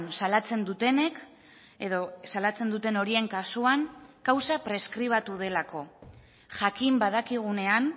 salatzen dutenek edo salatzen duten horien kasuan kausa preskribatu delako jakin badakigunean